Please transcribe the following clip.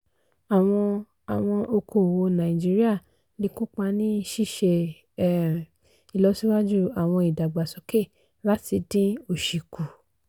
àwọn àwọn okoòwò nàìjíríà lè kópa ní ṣíṣe um ìlọsíwájú àwọn ìdàgbàsókè láti dín òsì kù.